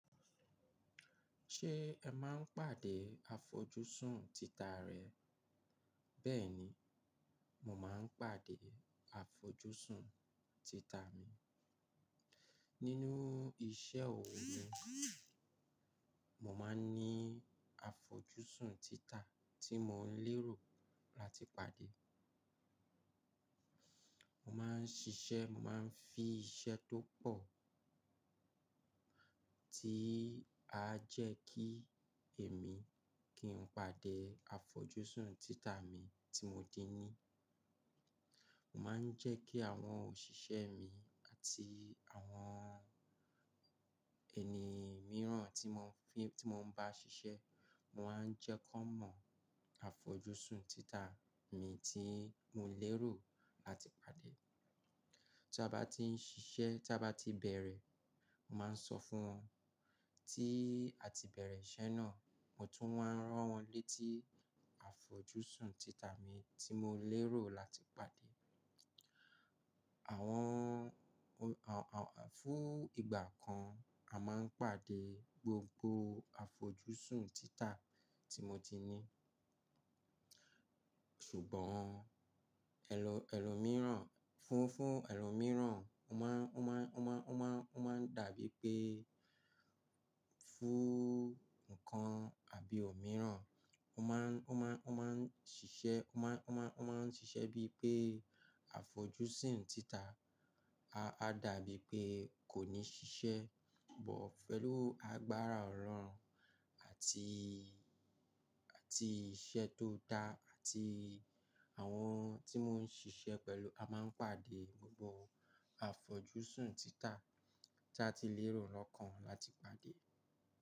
Ṣé ẹ máa ń pàdé àfojúsùn títà rẹ? Bẹ́ẹ̀ni, mo máa ń pàdé àfojúsùn títà mi. Nínú iṣẹ́ òwò mi, mo máa ń ní àfojúsùn títà tí mo ń lérò láti pàdé. Mo máa ń ṣiṣẹ́, mo máa ń fi iṣẹ́ tó pọ̀ tí a jẹ́ kí èmi kí n pàdé àfojúsùn títà mi tí mo dín ní. Mo máa ń jẹ́ kí àwọn òṣìṣẹ́ mi àti àwọn ẹni mìíràn tí mo fi-- tí mo ń bá ṣiṣẹ́, mo máa ń jẹ́ kí wọ́n mọ̀ àfojúsùn títà mi tí mo lérò áti pàdé. Tí a bá ti ń ṣiṣẹ́, tí a bá ti bẹ̀rẹ̀, mo máa ń sọ fún wọn tí a ti bẹ̀rẹ̀ iṣẹ́ náà, mo tún máa rán wọn létí àfojúsùn títà mi tí mo lérò láti pàdé. Àwọn, fún ìgbà kan, a máa ń pàdé gbogbo àfojúsùn títà tí mo ti ní. Ṣùgbọ́n ẹlọ- ẹlòmíràn fún, fún ẹlòmíràn, ó máa ń, ó máa ń, ó máa ń, ó máa ń, o maa n dàbí pé fún nǹkan àbí òmíràn, ó máa ń, ó máa ń, ó máa ń ṣiṣẹ́, ó máa ń, ó máa ń, ó máa ń ṣiṣẹ́ bíi pé àfojúsùn títà a dàbí pé kò ní ṣiṣẹ́. Ṣùgbọ́n pẹ̀lú agbára ọ̀rọ̀ àti, àti iṣẹ́ tó dá àti àwọn tí mo ń ṣiṣẹ́ pẹ̀lú, a máa ń pàdé gbogbo àfojúsùn títà tí a ti lérò lọ́kàn láti pàdé.